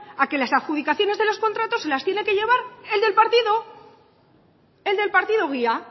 a que las adjudicaciones de los contratos se las tiene que llevar el del partido el del partido guía